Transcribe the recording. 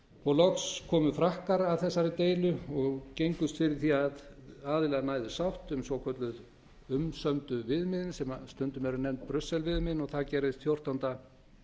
og loks komu frakkar að þessari deilu og gengust fyrir því að aðilar næðu sátt um svokölluðu umsömdu viðmiðin sem stundum eru nefnd brussel viðmiðin og það gerðist fjórtánda